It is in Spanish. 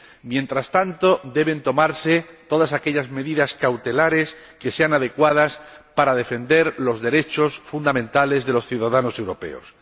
Mientras tanto, deben tomarse todas aquellas medidas cautelares que sean adecuadas para defender los derechos fundamentales de los ciudadanos europeos.